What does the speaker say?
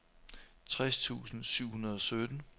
tres tusind syv hundrede og sytten